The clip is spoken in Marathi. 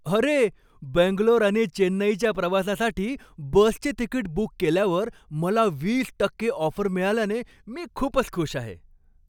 अरे! बेंगलोर आणि चेन्नईच्या प्रवासासाठी बसचे तिकिट बुक केल्यावर मला वीस टक्के ऑफर मिळाल्याने मी खूपच खुश आहे.